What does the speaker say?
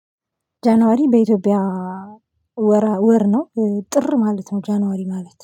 ጃንዋሪ በኢትዮጵያ ወር ነው ጥር ማለት ነው። ጃንዋሪ ማለት